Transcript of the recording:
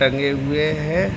टंगे हुए हैं।